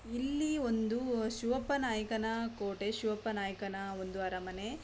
ಇಲ್ಲಿ ಇಂದು ಶಿವಪ್ಪ ನಾಯಕನ ಕೋಟೆ ಶಿವಪ್ಪ ನಾಯಕನ ಒಂದು ಅರಮನೆ.